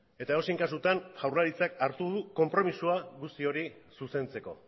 eta edozein kasutan jaurlaritzak hartu du konpromisoa guzti hori zuzentzeko